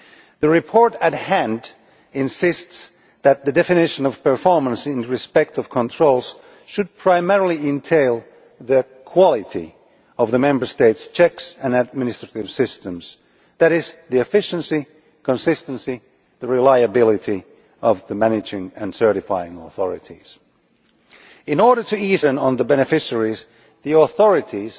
The report at hand insists that the definition of performance in respect of controls should primarily entail the quality of the Member States' checks and administrative systems that is, the efficiency, consistency and reliability of the managing and certifying authorities. In order to ease the burden on the beneficiaries, the authorities